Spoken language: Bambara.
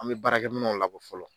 An bɛ baara kɛ minɛnw labɔ fɔlɔ.